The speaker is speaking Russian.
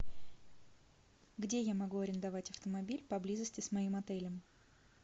где я могу арендовать автомобиль поблизости с моим отелем